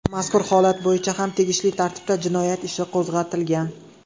Mazkur holat bo‘yicha ham tegishli tartibda jinoyat ishi qo‘zg‘atilgan.